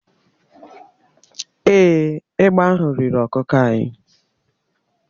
Èé, egbe ahụ riri ọkụkọ anyị.